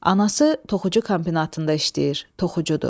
Anası toxucu kombinatında işləyir, toxucudur.